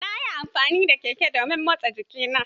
Nayi amfani da keke don motsa jikina.